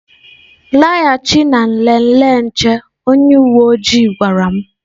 Laghachi na nlele nche onye uwe ojii gwara m